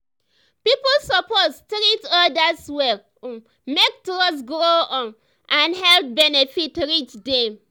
people suppose treat others well um make trust grow um and health benefit reach dem.